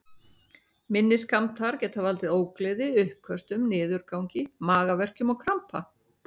Minni skammtar geta valdið ógleði, uppköstum, niðurgangi, magaverkjum og krampa.